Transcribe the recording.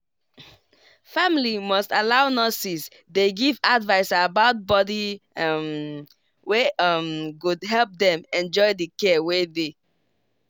family must allow nurses dey give advice about body um wey um go help dem enjoy the care wey dey.